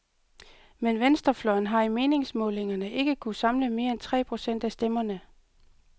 Men venstrefløjen har i meningsmålingerne ikke kunnet samle mere end tre procent af stemmerne.